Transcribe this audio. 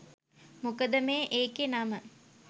මොකද මේ එකේ නම